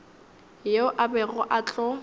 yeo a bego a tlo